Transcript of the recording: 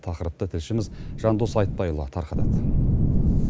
тақырыпты тілшіміз жандос айтбайұлы тарқатады